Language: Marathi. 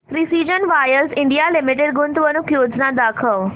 प्रिसीजन वायर्स इंडिया लिमिटेड गुंतवणूक योजना दाखव